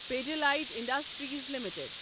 Pidilite industries limited